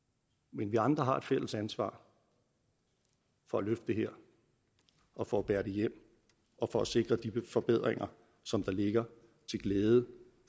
men vi andre har et fælles ansvar for at løfte det her og for at bære det hjem og for at sikre de forbedringer som der ligger til glæde